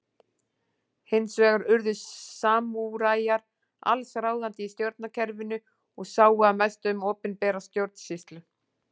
Hins vegar urðu samúræjar alls ráðandi í stjórnkerfinu og sáu að mestu um opinbera stjórnsýslu.